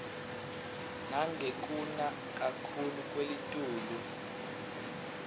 nangekuna kakhuclu kwelitulu